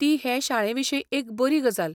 ती हे शाळेविशीं एक बरी गजाल.